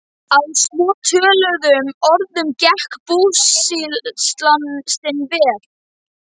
Meira hvað fólk þarf að vinna mikið orðið.